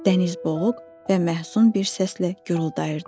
Dəniz boğuq və məhzun bir səslə guruldayırdı.